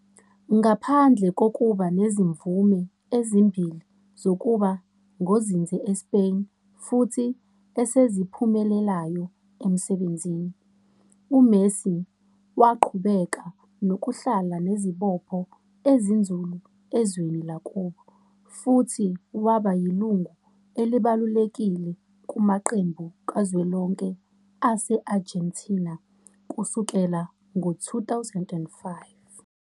Ngaphandle kokuba nezimvume ezimbili zokuba ngozinze eSpain futhi eseziphumelelayo emsebenzini, uMessi waqhubeka nokuhlala nezibopho ezinzulu ezweni lakubo, futhi waba yilungu elibalulekile kumaqembu kazwelonke ase-Argentina kusukela ngo-2005.